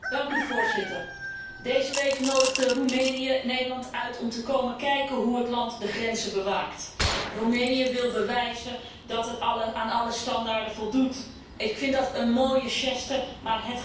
Deze week nodigde Roemenië Nederland uit om te komen kijken hoe het land de grenzen bewaakt. Roemenië wil bewijzen dat het aan alle standaarden voldoet. Ik vind dat een mooie geste, maar het gaat niet helpen.